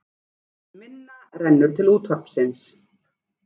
Minna rennur til útvarpsins